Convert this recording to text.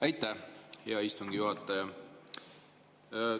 Aitäh, hea istungi juhataja!